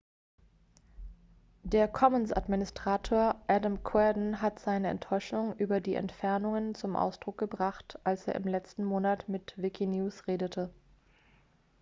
der commons-administrator adam cuerden hat seine enttäuschung über die entfernungen zum ausdruck gebracht als er im letzten monat mit wikinews redete